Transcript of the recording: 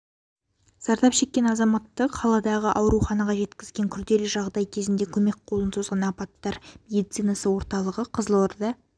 зардап шеккен азаматты қаладағы ауруханаға жеткізген күрделі жағдай кезінде көмек қолын созған апаттар медицинасы орталығы қызылорда